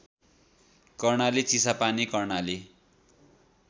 Karnali Chisapani Karnali